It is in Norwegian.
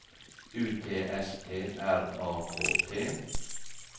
U T S T R A K T